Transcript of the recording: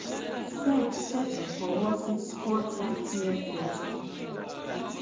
sec ṣẹṣẹ fọwọ sí spot etfs ethereum